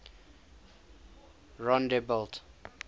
rondebult